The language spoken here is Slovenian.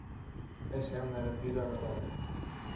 Kaj sem naredila narobe?